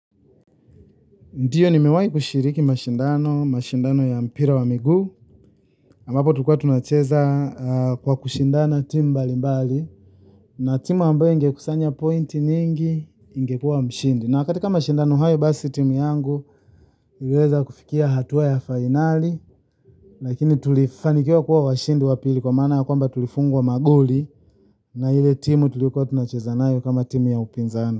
Ndiyo nimewahi kushiriki mashindano, mashindano ya mpira wa miguu. Ambapo tulikuwa tunacheza kwa kushindana timu mbali mbali. Na timu ambaye ingekusanya pointi nyingi ingekua mshindi. Na katika mashindano hayo basi timu yangu iliweza kufikia hatua ya finali. Lakini tulifanikiwa kuwa washindi wa pili kwa maana kwamba tulifungwa magoli. Na ile timu tulikuwa tunacheza nayo kama timu ya upinzani.